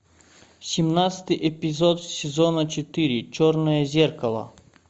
семнадцатый эпизод сезона четыре черное зеркало